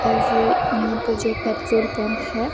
और यहाँ पर जो है पेट्रोल पंप है।